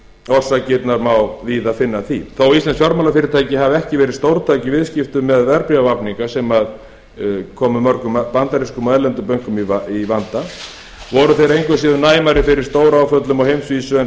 orsakirnar má víða finna að því þó íslensk fjármálafyrirtæki hafi ekki verið stórtæk í viðskiptum með verðbréfavafninga sem komu mörgum bandarískum og erlendum bönkum í vanda voru þau engu að síður næmari fyrir stóráföllum á heimsvísu en